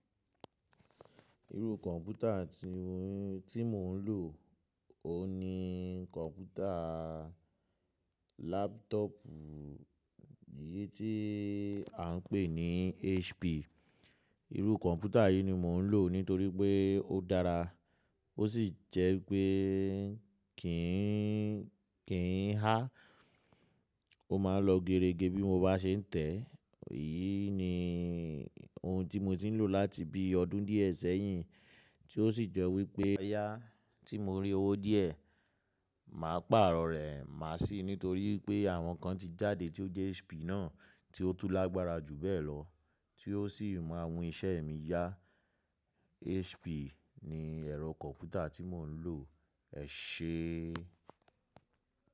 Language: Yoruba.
Irú kọ̀mpútà tí mo ń lò, òun ni kọ̀mpútà laptop yìí tí à ń pè ní HP. Irú kọ̀mpútà yìí ni mo ń lò nítorí pé ó dára, ó sì jẹ́ pé kì í hà. Ó máa ń lọ gerege bí mo bá ṣe ń tẹ̀. Èyí ni ohun tí mo ti ń lò láti bí ọdún díẹ̀ sẹ́yìn, tí ó sì jo wípé yá tí mo rí owó díẹ̀, màá pàrọ̀ rẹ̀, màá sì nítorí pé àwọn kan ti jáde tí ó jẹ́ HP náà tí ó tu lágbára jù bẹ́ẹ̀ lọ, tí ó sì máa mu iṣẹ́ mi yá. HP ni ẹ̀rọ kọ̀mpútà tí mò ń lò. Ẹ ṣé.